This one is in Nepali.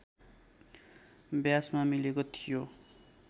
व्यासमा मिलेको थियो